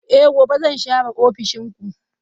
Eh gobe zan share ofishin ku.